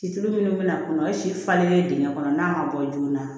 Cilu minnu bɛ na a kɔnɔ o ye si falenlen dingɛ kɔnɔ n'a ma bɔ joona